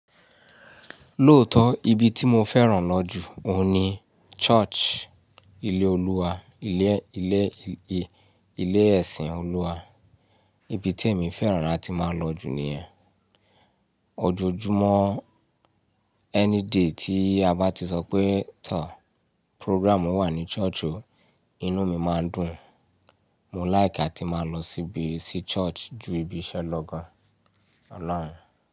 Lóòótọ́, ibi tí mo fẹ́ràn lọ́jú òun ni church, ilé Olúwa, ilé, ilé, ilé ẹ̀sìn Olúwa. Ibi tí èmi fẹ́ràn láti máa lọ jù ní yen. Ojoojúmọ́, any day tí a bá ti sọ pé tọ̀, program wà ní church o, inú mi máa ń dùn. Mò ń like láti máa lọ síbi, sí church ju ibi iṣẹ́ lọ gan. Ọlọ́run.